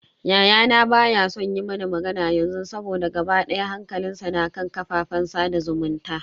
Yayana baya so yi mana magana yanzu saboda gaba daya hankalinsa na kan kafafen sada zumunta.